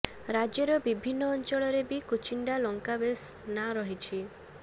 ରାଜ୍ୟର ବିଭିନ୍ନ ଅଂଚଳରେ ବି କୁଚିଣ୍ଡା ଲଙ୍କା ବେଶ ନାଁ କରିଛି